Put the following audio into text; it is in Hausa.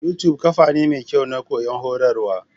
Yutub kafa ne mekyau Na koyon horarwa.